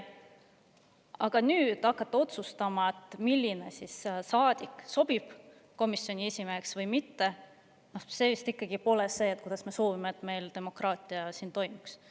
Aga hakata otsustama, milline saadik sobib komisjoni esimeheks või mitte – no see vist ikkagi pole see viis, kuidas me soovime, et meie demokraatia siin riigis toimiks.